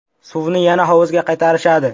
Suvni yana hovuzga qaytarishadi.